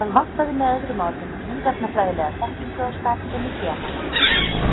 Það vantaði með öðrum orðum lífefnafræðilega þekkingu á starfsemi genanna.